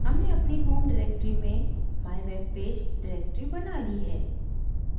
हमने अपनी home directory में mywebpage directory बना ली है